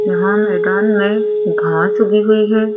यहां मैदान में घास उगी हुई है।